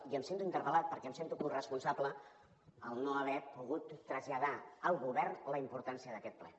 i em sento interpel·lat perquè em sento coresponsable en no haver pogut traslladar al govern la importància d’aquest ple